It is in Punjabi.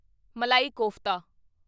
ਮਲਾਈ ਕੋਫਤਾ